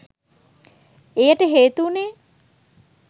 එයට හේතු වුණේ